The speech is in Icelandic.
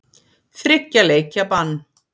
Þriggja leikja bann?